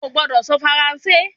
o gbọdọ sọ Faranse